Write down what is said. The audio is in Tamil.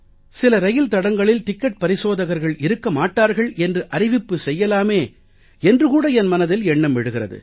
சில இரயில் தடங்களில் டிக்கட் பரிசோதகர்கள் இருக்க மாட்டார்கள் என்று அறிவிப்பு செய்யலாமே என்று கூட என் மனதில் எண்ணம் எழுகிறது